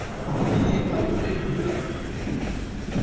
ହଁ ଯିବି ଭାବୁଥିଲି ଯିବି ଆଉ।